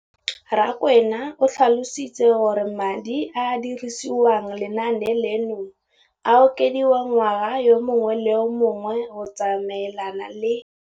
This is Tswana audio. Rakwena o tlhalositse gore madi a a dirisediwang lenaane leno a okediwa ngwaga yo mongwe le yo mongwe go tsamaelana le